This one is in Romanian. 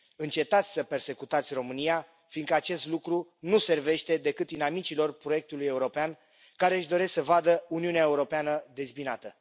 Încetați să persecutați România, fiindcă acest lucru nu servește decât inamicilor proiectului european care își doresc să vadă Uniunea Europeană dezbinată!